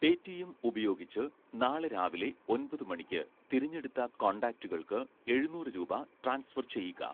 Paytm ഉപയോഗിച്ച് നാളെ രാവിലെ ഒൻപതു മണിക്ക് തിരഞ്ഞെടുത്ത കോൺടാക്റ്റുകൾക്ക് എഴുന്നൂറ് രൂപ ട്രാൻസ്ഫർ ചെയ്യുക